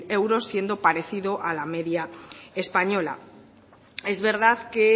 euros siendo parecido a la media española es verdad que